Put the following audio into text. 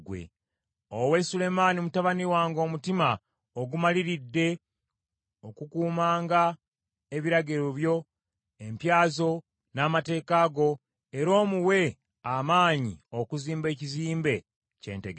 Owe Sulemaani mutabani wange omutima ogumaliridde okukumanga ebiragiro byo, empya zo, n’amateeka go, era omuwe amaanyi okuzimba ekizimbe kye ntegese.”